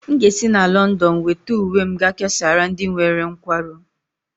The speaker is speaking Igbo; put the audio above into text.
M ga-esi na Lọndọn weta uwe m ga-ekesara ndị nwere nkwarụ